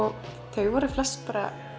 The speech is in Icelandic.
þau voru flest